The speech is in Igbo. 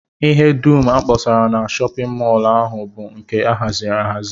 Ihe dum a kpọsara na shọpịn mọl ahụ bụ nke a haziri ahazi